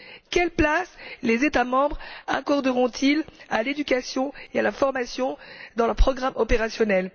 Quelle place les États membres accorderont ils à l'éducation et à la formation dans leurs programmes opérationnels?